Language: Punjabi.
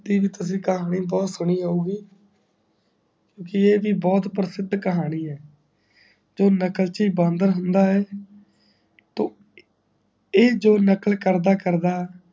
ਕਹਾਣੀ ਬਹੁਤ ਸੁਣੀ ਹੋਊਂਗੀ ਕਿਉਂਕਿ ਇਹ ਬ ਬਹੁਤ ਪ੍ਰਸ਼ਿਦ ਕਹਾਣੀ ਹੈ ਜੋ ਨਕਲਚੀ ਬਾਂਦਰ ਹੁੰਦਾ ਹੈ ਤੋਂ ਇਹ ਜੋ ਨਕਲ ਕਰਦਾ ਕਰਦਾ